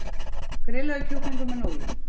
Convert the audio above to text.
Grillaður kjúklingur með núðlum